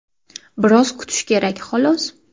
Biroz kutish kerak, xolos.